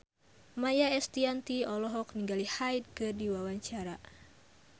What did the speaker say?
Maia Estianty olohok ningali Hyde keur diwawancara